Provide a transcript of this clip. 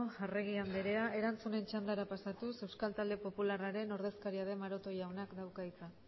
arregi andrea erantzunen txandara pasatuz euskal talde popularraren ordezkaria den maroto jaunak dauka hitza